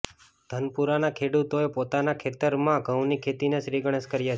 ધનપુરાના ખેડૂતોએ પોતાના ખેતરરમાં ઘઉની ખેતીના શ્રીગણેશ કર્યા છે